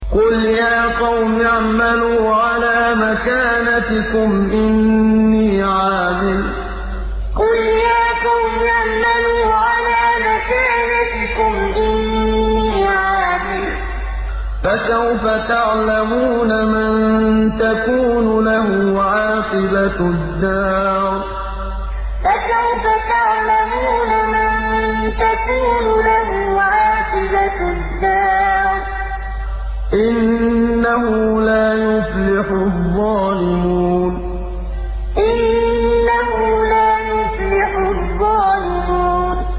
قُلْ يَا قَوْمِ اعْمَلُوا عَلَىٰ مَكَانَتِكُمْ إِنِّي عَامِلٌ ۖ فَسَوْفَ تَعْلَمُونَ مَن تَكُونُ لَهُ عَاقِبَةُ الدَّارِ ۗ إِنَّهُ لَا يُفْلِحُ الظَّالِمُونَ قُلْ يَا قَوْمِ اعْمَلُوا عَلَىٰ مَكَانَتِكُمْ إِنِّي عَامِلٌ ۖ فَسَوْفَ تَعْلَمُونَ مَن تَكُونُ لَهُ عَاقِبَةُ الدَّارِ ۗ إِنَّهُ لَا يُفْلِحُ الظَّالِمُونَ